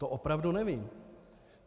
To opravdu nevím.